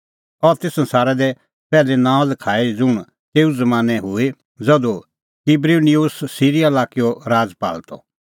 अह ती संसारा दी पैहली नांअ लखाई ज़ुंण तेऊ ज़मानैं हूई ज़धू क्बिरिनिउस सिरीया लाक्कैओ राजपाल त